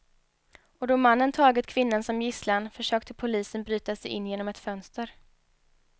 Och då mannen tagit kvinnan som gisslan försökte polisen bryta sig in genom ett fönster.